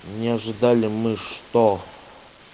не ожидали мы что